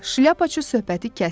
Şlyapaçı söhbəti kəsdi.